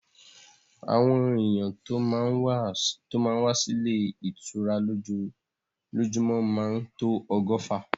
Àwọn èyàn tó má ń wá sí ilé ìtura lójúmọ́ máa tó ọgọ́fà.